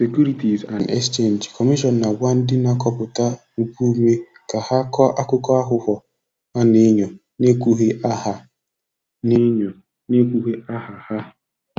Securities and Exchange Commission na-agba ndị na-akọpụta mpụ ume ka ha kọọ akụkọ aghụghọ a na-enyo na-ekwughị aha na-enyo na-ekwughị aha ha.